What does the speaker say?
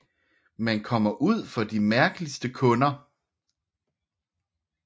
Man kommer ud for de mærkeligste kunder